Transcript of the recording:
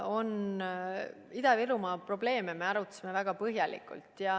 Ida-Virumaa probleeme me arutasime väga põhjalikult.